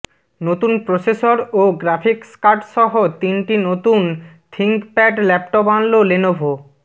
নতুন প্রসেসর ও গ্রাফিক্স কার্ডসহ তিনটি নতুন থিংকপ্যাড ল্যাপটপ আনল লেনোভো